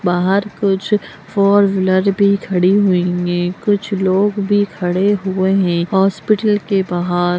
बाहर कुछ four wheeler भी खड़ी हुई है कुछ लोग भी खड़े हुए हैं हॉस्पिटल के बाहर।